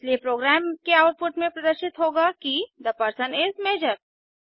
इसलिए प्रोग्राम के आउटपुट में प्रदर्शित होगा कि थे पर्सन इस मजोर